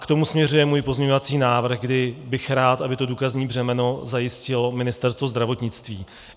K tomu směřuje můj pozměňovací návrh, kdy bych rád, aby to důkazní břemeno zajistilo Ministerstvo zdravotnictví.